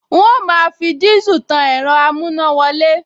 N óò máa fi dísù tan ẹ̀rọ amúnáwọlé